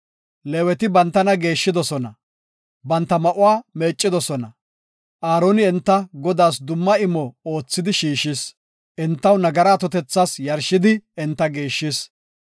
Leeweti bantana geeshshidosona; banta ma7uwa meeccidosona. Aaroni enta Godaas dumma imo oothidi shiishis; entaw nagara atotethas yarshidi enta geeshshis.